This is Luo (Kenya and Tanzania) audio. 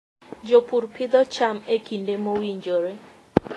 Jopur pidho cham e kinde mowinjore.